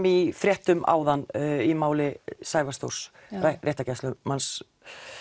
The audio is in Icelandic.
í fréttum áðan í máli Sævars Þórs réttargæslumanns